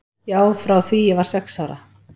Já, frá því ég var sex ára.